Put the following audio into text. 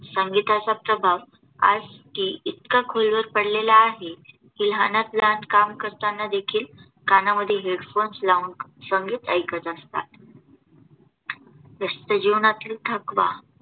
संगीताचा प्रभाव आज की इतका खोलवर पडलेला आहे, की लहानात लहान काम करताना देखील कानामध्ये HEADPHONES लावून संगीत ऐकत असतात. व्यस्त जीवनातील थकवा